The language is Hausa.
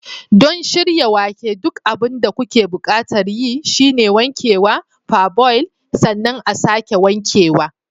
Don shirya wake, duk abin da kuke buƙatar yi shine wankewa, parboil, sannan a'sake wankewa.